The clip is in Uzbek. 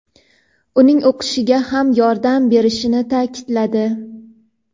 uning o‘qishiga ham yordam berilishini ta’kidladi.